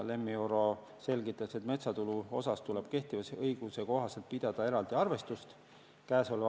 Lemmi Oro selgitas, et metsatulu üle tuleb kehtiva õiguse kohaselt pidada eraldi arvestust.